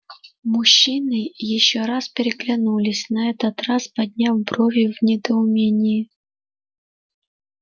мужчины ещё раз переглянулись на этот раз подняв брови в недоумении